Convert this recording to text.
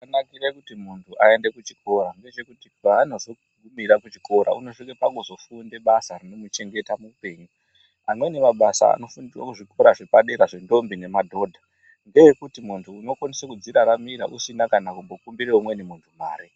Chinonakire kuti munhu aende kuchikora ndechekuti paanozo gu.ira kuchikora unozo svike pakuzo funda basa rinomuchengeta muupenyu amweni mabasa anofundirwa kuzvikora zvepadera zve ndombi nemadhodha ndeekuti muntu uno kwanisa kudziraramira usina kana kumbokumbire umweni muntu mare.